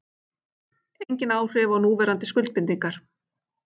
Engin áhrif á núverandi skuldbindingar